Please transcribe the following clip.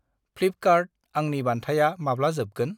Flipkart आंनि बान्थाया माब्ला जोबगोन?